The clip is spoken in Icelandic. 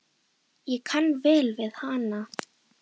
Hélt mínu striki.